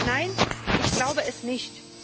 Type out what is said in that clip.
Nein, ich glaube es nicht.